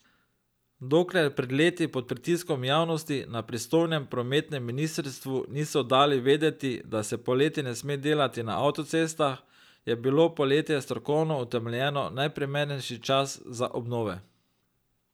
Dokler pred leti pod pritiskom javnosti na pristojnem prometnem ministrstvu niso dali vedeti, da se poleti ne sme delati na avtocestah, je bilo poletje strokovno utemeljeno najprimernejši čas za obnove.